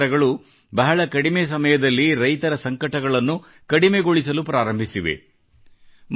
ಈ ಅಧಿಕಾರಗಳು ಬಹಳ ಕಡಿಮೆ ಸಮಯದಲ್ಲಿ ರೈತರ ಸಂಕಟಗಳನ್ನು ಕಡಿಮೆಗೊಳಿಸಲು ಪ್ರಾರಂಭಿಸಿವೆ